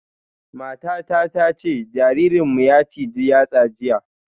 Matata ta ce jaririnmu ya ciji yatsa jiya